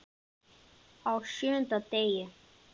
Á SJÖUNDA DEGI